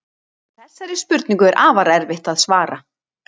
Þessari spurningu er afar erfitt að svara.